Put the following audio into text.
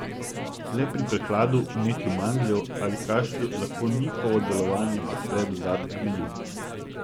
Le pri prehladu, vnetju mandljev ali kašlju lahko njihovo delovanje podpre dodatek medu.